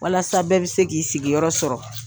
Walasa bɛɛ bɛ se k'i sigiyɔrɔ sɔrɔ.